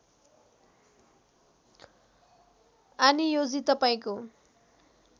आनियोजी तपाईँको